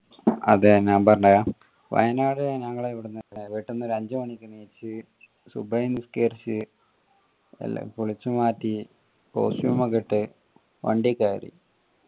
ആഹ് അതെ ഞാൻ പറഞ്ഞെരാ വയനാട് ഞങ്ങൾ ഇവ്ട്ന്ന് വീട്ടീന്ന് അഞ്ചു മണിക്ക് എണീച് സുബ്ഹി നിസ്കരിച് എല്ലാം കുളിച് മാറ്റി costume ഒക്കെ ഇട്ട് വണ്ടി കയറി